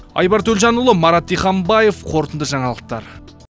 айбар төлжанұлы марат диханбаев қорытынды жаңалықтар